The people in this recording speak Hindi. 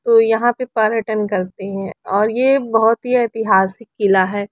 तो यहाँ पे पर्यटन करते है और ये बहोत ही एतिहासिक किला है ।